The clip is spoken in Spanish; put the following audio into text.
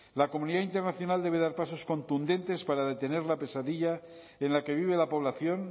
la comunidad internacional debe dar pasos contundentes para detener la pesadilla en la que vive la población